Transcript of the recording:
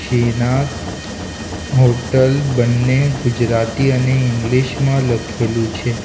Shrinath hotel બન્ને ગુજરાતી અને English માં લખેલું છે.